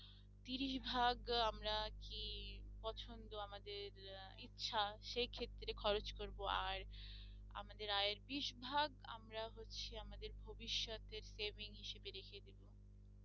তিরিশ ভাগ আমরা কি পছন্দ আমাদের আহ ইচ্ছা সেক্ষেত্রে খরচ করবো আর আমাদের আয়ের বিশ ভাগ আমরা হচ্ছে আমাদের ভবিষতের saving হিসাবে রেখে দেব